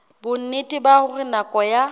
bonnete ba hore nako ya